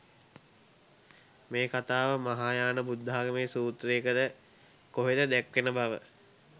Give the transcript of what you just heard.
මේ කතාව මහායාන බුද්ධාගමේ සූත්‍රයක ද කොහෙද දැක්වෙන බව.